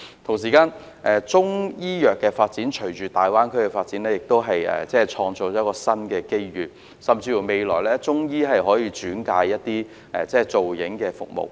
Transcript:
同時，中醫藥發展隨着大灣區的發展亦可創造新的機遇，未來甚至可由中醫轉介提供造影服務。